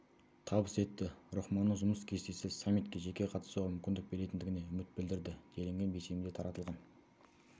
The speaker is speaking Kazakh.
табыс етті рахмонның жұмыс кестесі саммитке жеке қатысуға мүмкіндік беретіндігіне үміт білдірді делінген бейсенбіде таратылған